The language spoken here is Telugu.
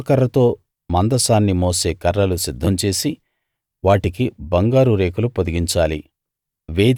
తుమ్మకర్రతో మందసాన్ని మోసే కర్రలు సిద్ధం చేసి వాటికి బంగారం రేకులు పొదిగించాలి